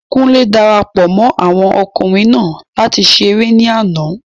Kúnlé darapọ̀ mọ́ àwọn okunrin naa láti ṣeré ní àná